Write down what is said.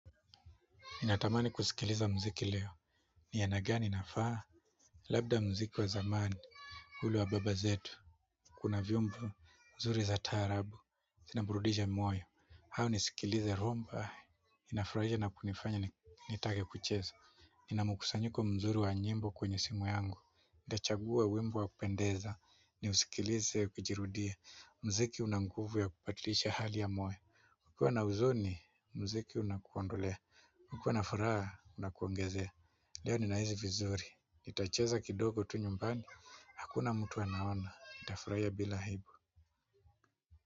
Ninatamani kusikiliza muziki leo ni aina gani na faa labda muziki wa zamani ule wa baba zetu kuna vyombo nzuri za taarabu niburudishe moyo au nisikilize rhumba nafurahia na kunifanya nitake kuchezo. Inamkusanyiko mzuri wa nyimbo kwenye simu yangu nitachagua wimbo wa kupendeza. Nisikilize ukijirudia muziki una nguvu ya kubadilisha hali ya moyo kukua na huzoni muziki unakuondolea ukiwa na furaha inakuongezea leo ninahisi vizuri. Itacheza kidogo tu nyumbani hakuna mtu anaona nitafurahia bila aibu.